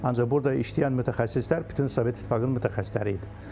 Ancaq burda işləyən mütəxəssislər bütün Sovet İttifaqının mütəxəssisləri idi.